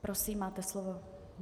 Prosím, máte slovo.